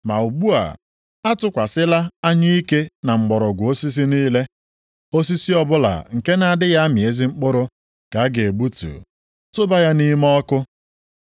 Ma ugbu a atụkwasịla anyụike na mgbọrọgwụ osisi niile. Osisi ọbụla nke na-adịghị amị ezi mkpụrụ ka a ga-egbutu, tụba ya nʼime ọkụ.